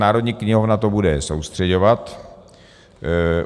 Národní knihovna to bude soustřeďovat.